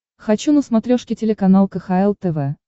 хочу на смотрешке телеканал кхл тв